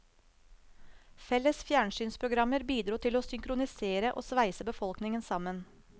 Felles fjernsynsprogrammer bidro til å synkronisere og sveise befolkningen sammen.